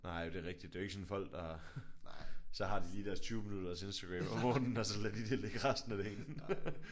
Nej det er rigtigt. Det er ikke folk der har deres 20 minutter Instagram om morgenen og så lader de det ligge resten af dagen